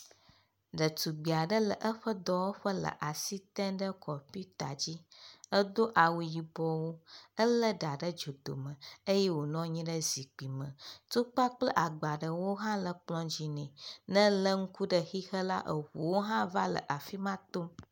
Ɖetugbiaɖe le eƒe dɔwɔƒe le asi tem ɖe kɔmputa dzi edó awu yibɔ, ele ɖà ɖe dzodome eye wonɔnyi ɖe zikpi me tukpa kple agbaɖewo hã le kplɔa dzi nɛ , ne ele ŋku ɖe xexe la eʋuaɖewo hã le afima tom